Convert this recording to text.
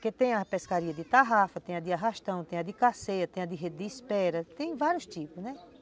Porque tem a pescaria de tarrafa, tem a de arrastão, tem a de carceia, tem a de rede de espera, tem vários tipos, né?